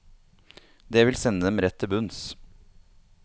Det vil sende dem rett til bunns.